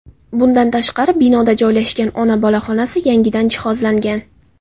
Bundan tashqari, binoda joylashgan ona-bola xonasi yangidan jihozlangan.